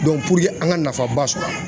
puruke an ka nafanba sɔrɔ a la.